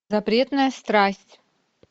запретная страсть